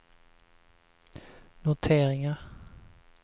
noteringar